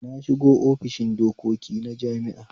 Na shiga ofishin dokoki na jami'a